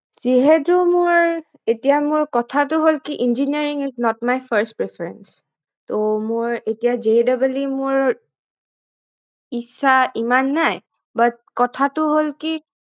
যিহেতু মোৰ এতিয়া মোৰ কথাটো হল কি Engineering is not my first preference মই এতিয়া JEE মোৰ ইচ্ছা ইমান নাই but কথাটো হল কি